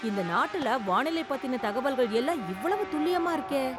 இந்த நாட்டுல வானிலை பத்தின தகவல்கள் எல்லாம் இவ்வளவு துல்லியமா இருக்கே!